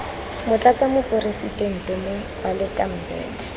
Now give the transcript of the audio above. motlatsa moporesitente moh baleka mbete